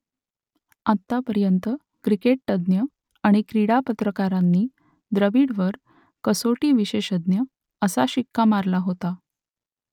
आत्तापर्यंत क्रिकेटतज्ञ आणि क्रीडा पत्रकारांनी द्रविडवर कसोटी विशेषज्ञ असा शिक्का मारला होता